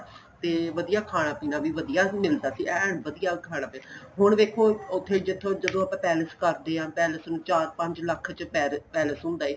ਤੇ ਵਧੀਆ ਖਾਣ ਪੀਣਾ ਵੀ ਵਧੀਆ ਮਿਲਦਾ ਸੀ ਐਨ ਵਧੀਆ ਖਾਣਾ ਪੀਣਾ ਹੁਣ ਵੇਖੋ ਉਥੇ ਜਿਥੋ ਜਦੋਂ ਆਪਾਂ palace ਕਰਦੇ ਹਾਂ palace ਨੂੰ ਚਾਰ ਪੰਜ ਲੱਖ ਚ palace ਹੁੰਦਾ ਏ